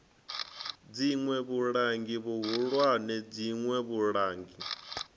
dziṋwe vhulangi vhuhulwane dziṋwe vhulangi